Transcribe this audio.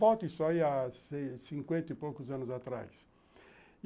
Volte só aí a cinquenta e poucos anos atrás.